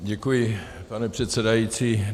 Děkuji, pane předsedající.